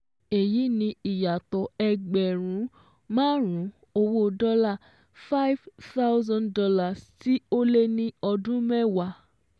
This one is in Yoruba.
Èyí ni ìyàtọ̀ ẹgbẹ̀rún márùn-ún owó dọ́là five thousand dollars tí ó lé ní ọdún mẹ́wàá